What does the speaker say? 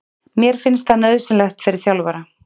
Mér finnst það nauðsynlegt fyrir þjálfara.